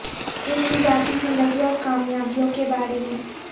ان کی ذاتی زندگی اور کامیابیوں کے بارے میں